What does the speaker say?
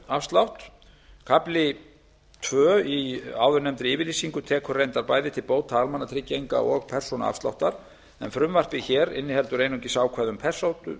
persónuafslátt kafli tvö í áðurnefndri yfirlýsingu tekur reyndar bæði til bóta almannatrygginga og persónuafsláttar en frumvarpið hér inniheldur einungis ákvæði um